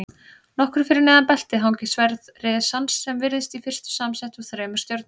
Nokkru fyrir neðan beltið hangir sverð risans sem virðist í fyrstu samsett úr þremur stjörnum.